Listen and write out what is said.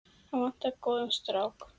Hana vantar góðan strák.